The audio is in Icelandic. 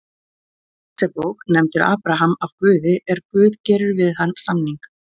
Mósebók nefndur Abraham af Guði er Guð gerir við hann samning: